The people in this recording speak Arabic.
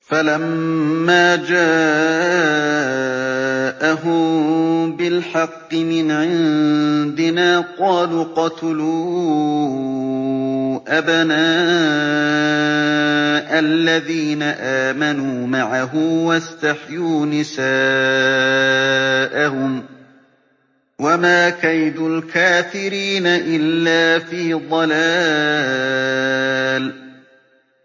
فَلَمَّا جَاءَهُم بِالْحَقِّ مِنْ عِندِنَا قَالُوا اقْتُلُوا أَبْنَاءَ الَّذِينَ آمَنُوا مَعَهُ وَاسْتَحْيُوا نِسَاءَهُمْ ۚ وَمَا كَيْدُ الْكَافِرِينَ إِلَّا فِي ضَلَالٍ